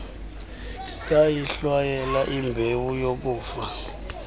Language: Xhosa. ndayihlwayela imbewu yokufa